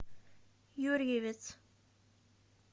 юрьевец